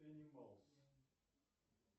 энималс